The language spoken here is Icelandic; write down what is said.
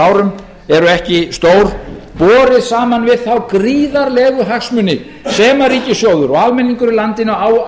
árum eru ekki stór borið saman við þá gríðarlegu hagsmuni sem ríkissjóður og almenningur í landinu á